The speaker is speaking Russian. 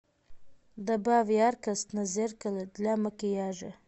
добавь яркость на зеркале для макияжа